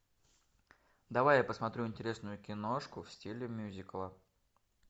давай я посмотрю интересную киношку в стиле мюзикла